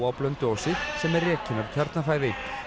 á Blönduósi sem er rekin af Kjarnafæði